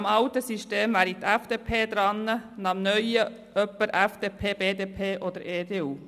Nach dem alten System wäre die FDP dran, nach dem neuen jemand aus der FDP, der BDP oder der EDU.